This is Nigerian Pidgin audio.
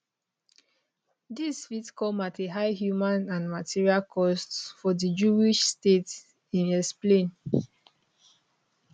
dis fit come at a high human and material costs for di jewish state im explain